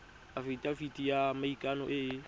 afitafiti ya maikano e e